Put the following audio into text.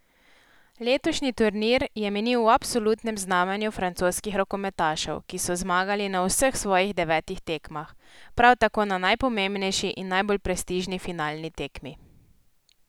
Letošnji turnir je minil v absolutnem znamenju francoskih rokometašev, ki so zmagali na vseh svojih devetih tekmah, prav tako na najpomembnejši in najbolj prestižni finalni tekmi.